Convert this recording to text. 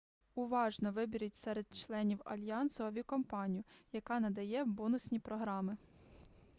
уважно виберіть серед членів альянсу авіакомпанію яка надає бонусні програми